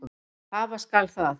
Hafa skal það.